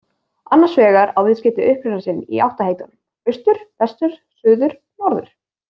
Annars vegar á viðskeytið uppruna sinn í áttaheitunum austur, vestur, suður, norður.